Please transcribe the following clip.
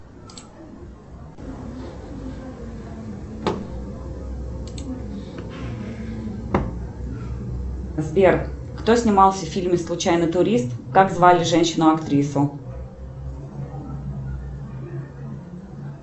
сбер кто снимался в фильме случайный турист как звали женщину актрису